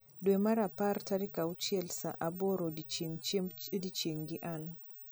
dwe mar apar tarik achiel saa aboro odiechieng chiembo odieching gi ann